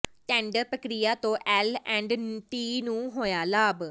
tender ਪ੍ਰਕਿਰਿਆ ਤੋਂ L and T ਨੂੰ ਹੋਇਆ ਲਾਭ